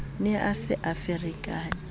ne a se a ferekane